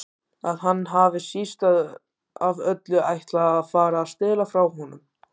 Að hann hafi síst af öllu ætlað að fara að stela frá honum.